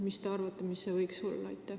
Mis te arvate, kui suur see võiks olla?